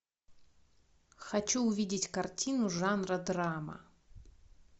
хочу увидеть картину жанра драма